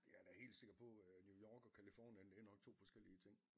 Jeg er da helt sikker på øh New York og Californien det er nok 2 forskellige ting